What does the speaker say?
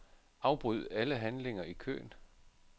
Afbryd alle handlinger i køen.